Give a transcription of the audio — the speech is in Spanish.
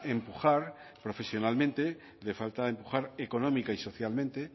empujar profesionalmente le falta empujar económica y socialmente